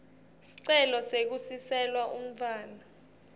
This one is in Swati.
sicelo sekusiselwa umntfwana